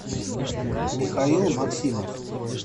михаил максимов